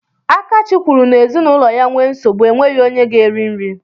Akachi kwuru n'ezinụlọ ya nwee nsogbu, enweghị onye ga-eri nri.